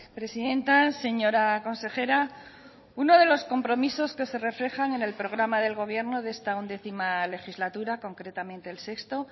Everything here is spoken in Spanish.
presidenta señora consejera uno de los compromisos que se reflejan en el programa del gobierno de esta undécima legislatura concretamente el sexto